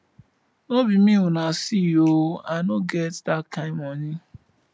no be me una see ooo i no get dat kin money